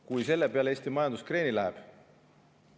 Kas selle peale läheb Eesti majandus kreeni?